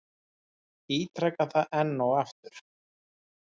Ítreka það enn og aftur.